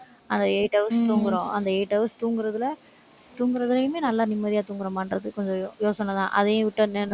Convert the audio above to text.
அந்த eight hours தூங்கறோம். அந்த eight hours தூங்கறதில, தூங்கறதிலயுமே நல்லா நிம்மதியா தூங்கறோமான்றது கொஞ்சம் யோசனைதான். அதையும் விட்டா